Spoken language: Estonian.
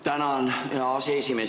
Tänan, hea aseesimees!